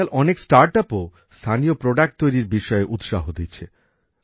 আজকাল অনেক স্টার্টাপ ও স্থানীয় পণ্য তৈরির বিষয়ে উৎসাহ দিচ্ছে